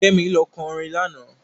Kẹ́mi lọ orin lánàá.